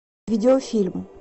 видеофильм